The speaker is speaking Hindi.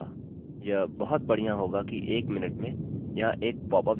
यह बहुत बढ़िया होगा कि एक मिनट में यहाँ एक pop up देखने मिलेगा